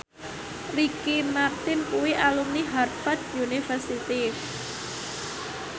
Ricky Martin kuwi alumni Harvard university